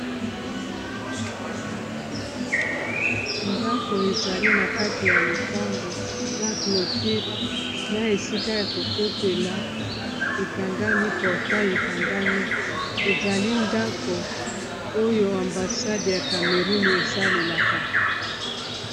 ndako ezali na kati ya lopango na cloture na esika ya kokotela ekangami portan ekangami ezali ndako oyo ambasade ya camerune esalelaka